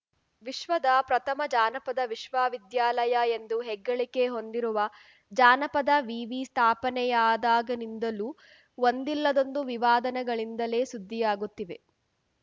ವಿಶ್ವದ ಪ್ರಥಮ ಜಾನಪದ ವಿಶ್ವವಿದ್ಯಾಲಯ ಎಂದು ಹೆಗ್ಗಳಿಕೆ ಹೊಂದಿರುವ ಜಾನಪದ ವಿವಿ ಸ್ಥಾಪನೆಯಾದಾಗನಿಂದಲೂ ಒಂದಿಲ್ಲದೊಂದು ವಿವಾದನಗಳಿಂದಲೇ ಸುದ್ದಿಯಾಗುತ್ತಿವೆ